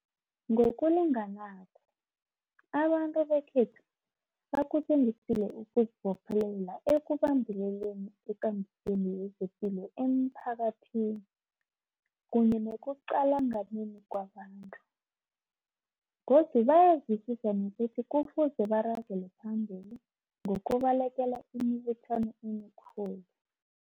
Ngokulinganako, abantu bekhethu bakutjengisile ukuzibophelela ekubambeleleni ekambisweni yezepilo emphakathini kunye nekuqalanganeni kwabantu. Godu bayezwisisa nokuthi kufuze baragele phambili ngokubalekela imibuthano emikhulu.